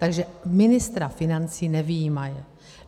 Takže ministra financí nevyjímaje.